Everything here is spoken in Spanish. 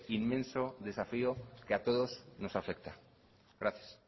inmenso desafío que a todos nos afecta gracias